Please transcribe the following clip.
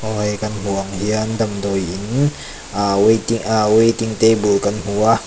aw hei Kan hmuh ang hian damdawiin aah waiting ahh waiting tabel kan hmu a.